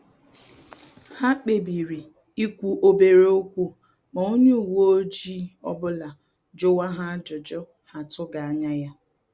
Ha kpebiri ikwu obere okwu ma onye uwe ọjị ọbụla juwa ha ajụjụ ha atughi anya ya